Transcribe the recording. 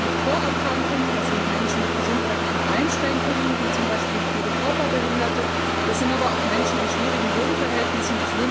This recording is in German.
Das sind Menschen mit Vorerkrankungen, das sind Menschen mit gesundheitlichen Einschränkungen wie zum Beispiel viele Körperbehinderte, das sind aber auch Menschen in schwierigen Wohnverhältnissen.